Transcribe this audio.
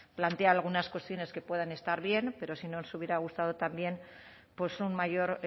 plantea algunas cuestiones que pueden estar bien pero sí nos hubiera gustado también pues un mayor